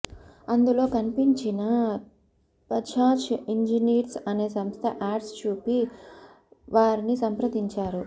అందులో కనిపించిన బజాజ్ ఇంజినీర్స్ అనే సంస్థ యాడ్ చూసి వారిని సంప్రదించారు